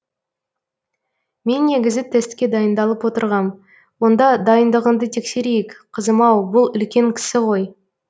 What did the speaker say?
мен негізі тестке дайындалып отырғам онда дайындығыңды тексерейік қызым ау бұл үлкен кісі ғой